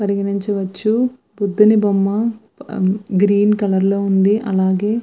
గమనించవచ్చు బుద్ధుని బొమ్మ గ్రీన్ కలర్ లో ఉంది. అలాగే --